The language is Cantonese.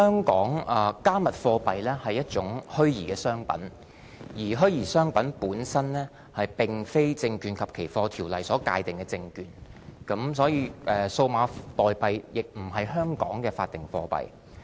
"加密貨幣"是一種虛擬商品，而虛擬商品並非香港《證券及期貨條例》所界定的證券，"加密貨幣"亦並不是香港的法定貨幣。